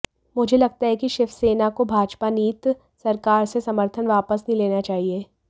मुझे लगता है कि शिवसेना को भाजपा नीत सरकार से समर्थन वापस नहीं लेना चाहिए